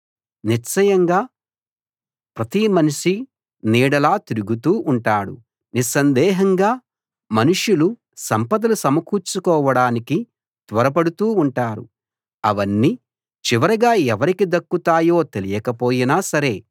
నిశ్చయంగా ప్రతి మనిషీ నీడలా తిరుగుతూ ఉంటాడు నిస్సందేహంగా మనుషులు సంపదలు సమకూర్చుకోవడానికి త్వరపడుతూ ఉంటారు అవన్నీ చివరగా ఎవరికి దక్కుతాయో తెలియకపోయినా సరే